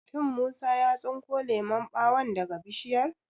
Shin Musa ya tsinko lemon ɓawon daga Bishiyar?